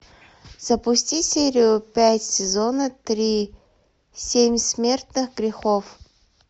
запусти серию пять сезона три семь смертных грехов